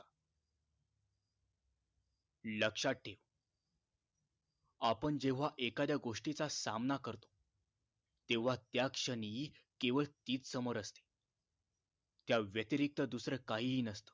लक्षात ठेव आपण जेंव्हा एखाद्या गोष्टीचा सामना करतो तेंव्हा त्या क्षणी केवळ तीच समोर असते त्या व्यतरिक्त दुसर काहीही नसत